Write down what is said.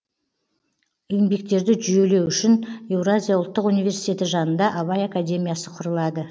еңбектерді жүйелеу үшін еуразия ұлттық университеті жанында абай академиясы құрылады